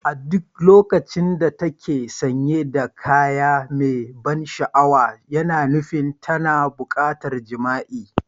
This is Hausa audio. A duk lokacin da ta ke sanye da kaya mai ban sha'awa, yana nufin tana buƙatar jima'i.